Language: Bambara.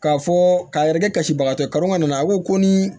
K'a fɔ k'a yɛrɛkɛ kasibagatɔ ye kaman nana a ko ko ni